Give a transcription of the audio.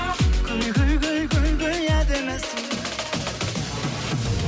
әдемісің